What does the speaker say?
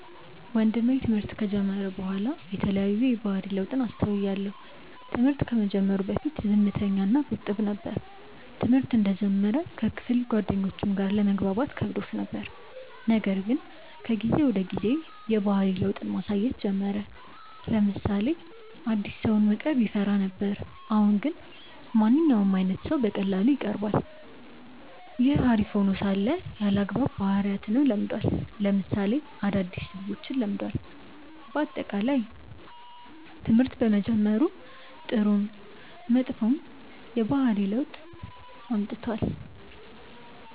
ወንድሜ ትምህርት ከጀመረ በኋላ የተለያዩ የባህሪ ለውጥን አስተውያለው። ትምህርት ከመጀመሩ በፊት ዝምተኛ እና ቁጥብ ነበር። ትምህርተ እንደጀመረ ከክፍል ጓደኞቹም ጋር ለመግባባት ከብዶት ነበር :ነገር ግን ከጊዜ ወደ ጊዜ የባህሪ ለውጥን ማሳየት ጀመረ : ለምሳሌ አዲስ ሰውን መቅረብ ይፈራ ነበር አሁን ግን ማንኛውም አይነት ሰው በቀላሉ ይቀርባል። ይህ አሪፍ ሄኖ ሳለ አልአግባብ ባህሪያትንም ለምዷል ለምሳሌ አዳዲስ ስድቦችን ለምዷል። በአጠቃላይ ትምህርት በመጀመሩ ጥሩም መጥፎም የባህሪ ለውጥ አምጥቷል።